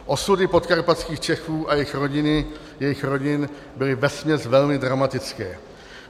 Osudy podkarpatských Čechů a jejich rodin byly vesměs velmi dramatické.